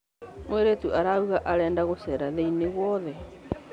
Mũirĩtu arauga arenda gũcera thĩ-inĩ guothe.